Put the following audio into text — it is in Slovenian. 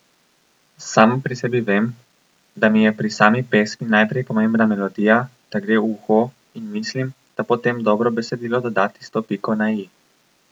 Sama pri sebi vem, da mi je pri sami pesmi najprej pomembna melodija, da gre v uho, in mislim, da potem dobro besedilo doda tisto piko na i.